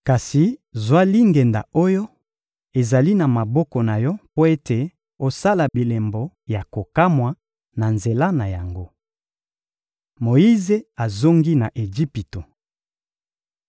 Kasi zwa lingenda oyo ezali na maboko na yo mpo ete osala bilembo ya kokamwa na nzela na yango. Moyize azongi na Ejipito